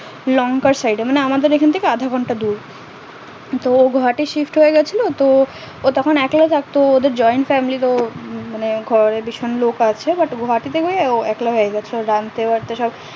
লংকার side এ মানে আমাদের এখন থেকে আধা ঘন্টা দূর তো গোয়াহাটি shift হয়ে গেছিলো তো তখন একলা থাকতো ওদের joint family তো মানে ঘরে ভীষণ লোক আছে but গোয়াহাটি তে গিয়ে ও একলা রানতে পারতো সব